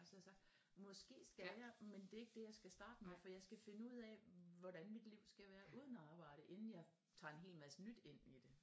Så har jeg sagt måske skal jeg men det er ikke det jeg skal starte med for jeg skal finde ud af hvordan mit liv skal være uden at arbejde inden jeg tager en helt masse nyt ind i det